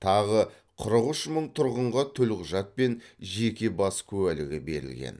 тағы қырық үш мың тұрғынға төлқұжат пен жеке бас куәлігі берілген